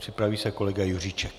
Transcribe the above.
Připraví se kolega Juříček.